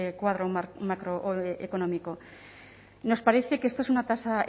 cuadro macroeconómico nos parece que esto es una tasa